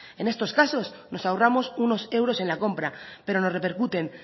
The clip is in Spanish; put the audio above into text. en estos casos nos ahorramos unos euros en la compra pero nos repercuten